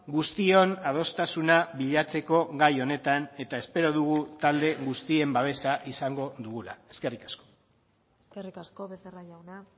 guztion adostasuna bilatzeko gai honetan eta espero dugu talde guztien babesa izango dugula eskerrik asko eskerrik asko becerra jauna